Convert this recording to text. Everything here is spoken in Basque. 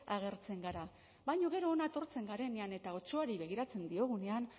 agertzen gara baina gero hona etortzen garenean eta otsoari begiratzen diogunean